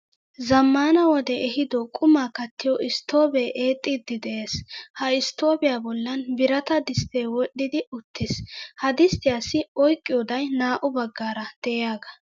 Zammana wode ehiiddo qummaa kattiyo stoobee eexxiidi de'ees, ha estoobiya bollan birata distee wodhdhidi uttiis, ha disttiyaassi oyqqiyodday naa"u baggaara de'iyaga.